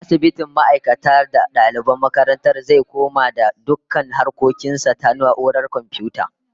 Asibitin ma'aikata da daliban makarantar zai komai da dukkan harkokin sa ta na'urar komfiyuta